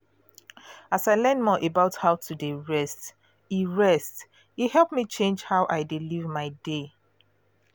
as i learn more about how to dey rest e rest e help me change how i dey live my day.